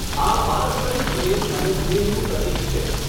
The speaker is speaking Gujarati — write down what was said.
આ પારસ્પરિક પ્રેમ અને સ્નેહનું પ્રતિક છે.